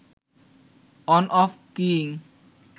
on off keying